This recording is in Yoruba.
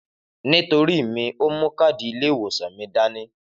Nítorí mí òmú kàdí ilé ìwòsàn mí dàní.